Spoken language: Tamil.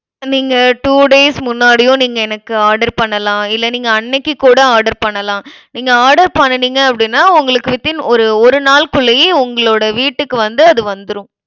இப்ப நீங்க two days முன்னாடியும், நீங்க எனக்கு order பண்ணலாம். இல்லை, நீங்க அன்னைக்கு கூட order பண்ணலாம். நீங்க order பண்ணுனீங்க அப்டினா உங்களுக்கு within ஒரு ஒரு நாள்குள்ளேயே உங்களோட வீட்டுக்கு வந்து அது வந்துரும்.